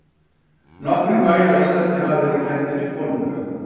Nokkrir bæir á Íslandi hafa verið kenndir við konunga.